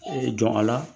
Ee jɔn a la